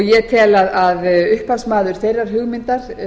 ég tel að upphafsmaður þeirrar hugmyndar